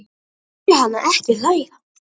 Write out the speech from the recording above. Ég heyri hana ekki hlæja